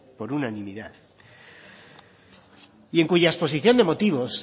por unanimidad y en cuya exposición de motivos